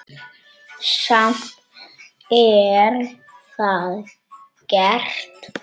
Samt er það gert.